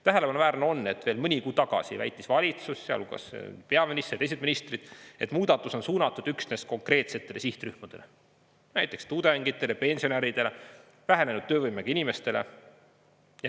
Tähelepanuväärne on, et veel mõni kuu tagasi väitis valitsus, sealhulgas peaminister ja teised ministrid, et muudatus on suunatud üksnes konkreetsetele sihtrühmadele, näiteks tudengitele, pensionäridele ja vähenenud töövõimega inimestele.